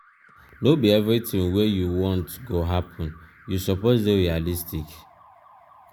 no be everytin wey you want go happen you suppose dey realistic.